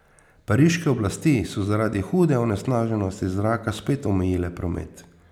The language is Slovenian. Pariške oblasti so zaradi hude onesnaženosti zraka spet omejile promet.